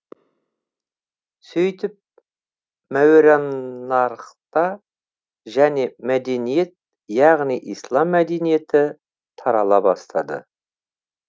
сөйтіп мауераннархта және мәдениет яғни ислам мәдениеті тарала бастады